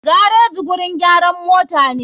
Gareji gurin gyaran motane.